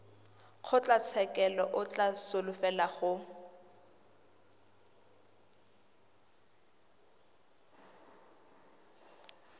kgotlatshekelo o ka solofela gore